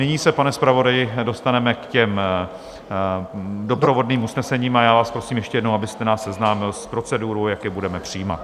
Nyní se, pane zpravodaji, dostaneme k těm doprovodným usnesením a já vás prosím ještě jednou, abyste nás seznámil s procedurou, jak je budeme přijímat.